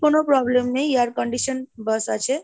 কোন problem নেই air condition bus আছে ,